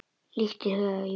Líkt og í huga Júlíu.